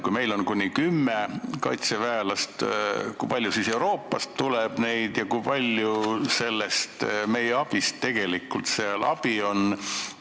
Kui meilt läheb sinna kuni kümme kaitseväelast, kui palju neid siis mujalt Euroopast tuleb – kui palju sellest abist seal tegelikult meie abi on?